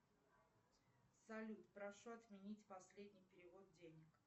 салют прошу отменить последний перевод денег